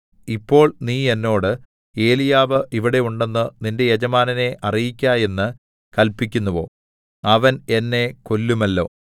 ഇപ്പോൾ നീ എന്നോട് ഏലീയാവ് ഇവിടെ ഉണ്ടെന്ന് നിന്റെ യജമാനനെ അറിയിക്ക എന്ന് കല്പിക്കുന്നുവോ അവൻ എന്നെ കൊല്ലുമല്ലോ